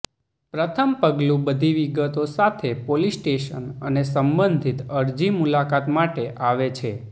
પ્રથમ પગલું બધી વિગતો સાથે પોલીસ સ્ટેશન અને સંબંધિત અરજી મુલાકાત માટે આવે છે